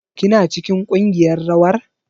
Kina cikin kungiyar rawar?